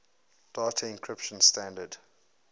data encryption standard